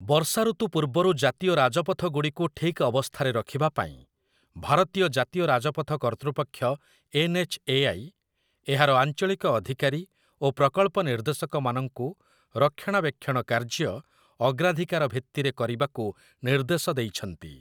ବର୍ଷା ଋତୁ ପୂର୍ବରୁ ଜାତୀୟ ରାଜପଥଗୁଡ଼ିକୁ ଠିକ୍ ଅବସ୍ଥାରେ ରଖିବା ପାଇଁ, ଭାରତୀୟ ଜାତୀୟ ରାଜପଥ କର୍ତ୍ତୃପକ୍ଷ ଏନ୍‌.ଏଚ୍‌.ଏ.ଆଇ., ଏହାର ଆଞ୍ଚଳିକ ଅଧିକାରୀ ଓ ପ୍ରକଳ୍ପ ନିର୍ଦ୍ଦେଶକମାନଙ୍କୁ ରକ୍ଷଣାବେକ୍ଷଣ କାର୍ଯ୍ୟ ଅଗ୍ରାଧିକାର ଭିତ୍ତିରେ କରିବାକୁ ନିର୍ଦ୍ଦେଶ ଦେଇଛନ୍ତି ।